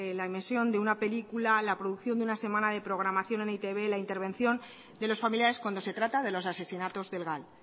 la emisión de una película la producción de una semana de programación de e i te be la intervención de los familiares cuando se trata de los asesinatos del gal